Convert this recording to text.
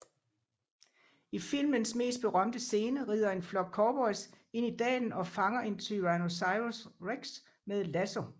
I filmens mest berømte scene ridder en flok cowboys ind i dalen og fanger en Tyrannosaurus rex med lasso